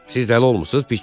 Siz ələ olmusunuz, Piçer.